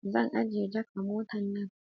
Zan ajjiye jak a mota nan